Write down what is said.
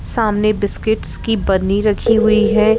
सामने बिस्किट्स की बरनी रखी हुई है।